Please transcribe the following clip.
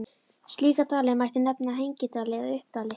Slíka dali mætti nefna hengidali eða uppdali.